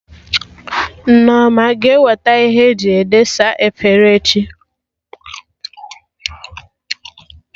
Nneoma a ga-eweta Ihe eji edesa efere echi?